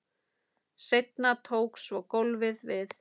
Seinna tók svo golfið við.